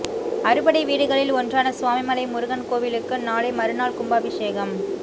அறுபடை வீடுகளில் ஒன்றான சுவாமிமலை முருகன் கோயிலுக்கு நாளை மறுநாள் கும்பாபிஷேகம்